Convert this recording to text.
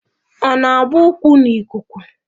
Ọ na-agba ụkwụ n'ikuku